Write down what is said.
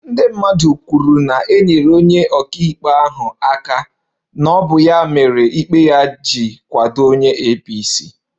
Ndị mmadụ kwuru na e nyere onye ọka ikpe ahụ aka na ọ bụ ya mere ikpe ya ji kwado onye apc